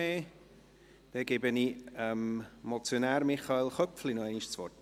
– Dann gebe ich dem Motionär, Michael Köpfli, nochmals das Wort.